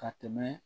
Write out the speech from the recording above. Ka tɛmɛ